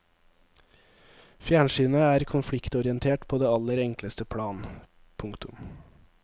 Fjernsynet er konfliktorientert på det aller enkleste plan. punktum